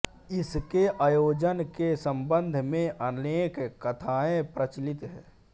इसके आयोजन के संबंध में अनेक कथाएँ प्रचलित है